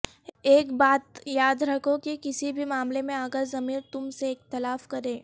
ایک بات یاد رکھو کہ کسی بھی معاملے میں اگر ضمیر تم سے اختلاف کرے